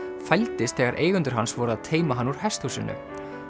fældist þegar eigendur hans voru að teyma hann úr hesthúsinu